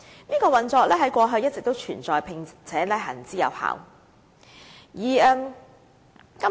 這運作在過去一直存在，並且行之有效。